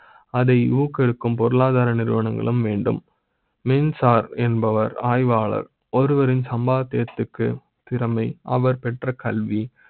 அதை ஊக்குவிக்கும் பொருளாதார நிறுவனங்களும் மீண்டும் மின்சார என்பவர் ஆய்வாளர் ஒரு வரின் சம்பாத்திய த்துக்கு திறமை அவர் பெற்ற கல்வி